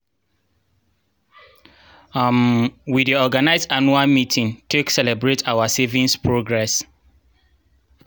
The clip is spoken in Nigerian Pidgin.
um we dey organize anuual meeting take celebrate our saviings progress.